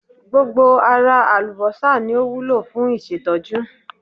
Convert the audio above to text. Gbogbo ara àlùbọ́sà ni o wúlò fún ìṣètọ́jú.